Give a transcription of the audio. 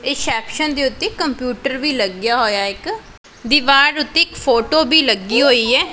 Reception ਦੇ ਉੱਤੇ computer ਵੀ ਲੱਗਾ ਹੋਇਆ ਹੈ ਇੱਕ ਦੀਵਾਰ ਉੱਤੇ ਇੱਕ ਫੋਟੋ ਵੀ ਲੱਗੀ ਹੋਈ ਹੈ।